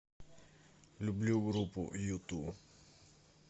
люблю группу юту